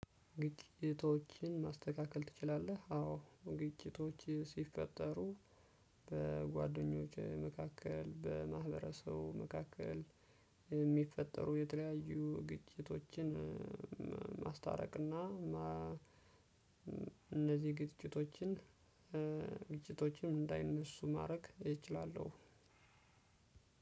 ግጭቶችን ማስተካከል ትችላለህ? አዎ ግጭቶች ሲፈጠሩ በጓደኞቼ መካከል በማህበረሰቡ መካከል የሚፈጠሩ የተለያዩ ግጭቶችን። ማስታረቅ እና። እነዚህ ግጭቶችን። ግጭቶችን እንዳይነሱ ማድረግ እችላለሁ።